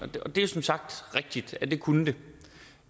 og det er som sagt rigtigt at det kunne det